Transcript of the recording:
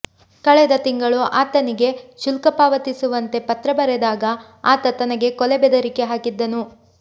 ಕಳೆದ ತಿಂಗಳು ಆತನಿಗೆ ಶುಲ್ಕ ಪಾವತಿಸುವಂತೆ ಪತ್ರ ಬರೆದಾಗ ಆತ ತನಗೆ ಕೊಲೆ ಬೆದರಿಕೆ ಹಾಕಿದ್ದನು